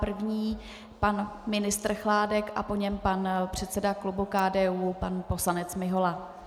První pan ministr Chládek a po něm pan předseda klubu KDU, pan poslanec Mihola.